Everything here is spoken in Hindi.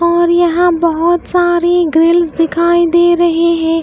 और यहां बहुत सारी ग्रिल्स दिखाई दे रहे है।